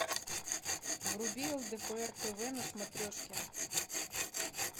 вруби лдпр тв на смотрешке